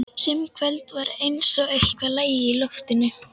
Sum kvöld var eins og eitthvað lægi í loftinu.